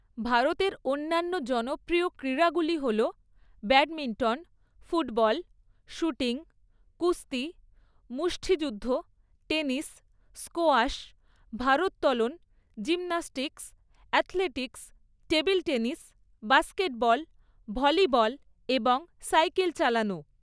ভারতের অন্যান্য জনপ্রিয় ক্রীড়াগুলি হল ব্যাডমিন্টন, ফুটবল, শুটিং, কুস্তি, মুষ্ঠিযুদ্ধ, টেনিস, স্কোয়াশ, ভারোত্তোলন, gymnastics, athletics, table tennis, basketball, volleyball এবং সাইকেল চালানো।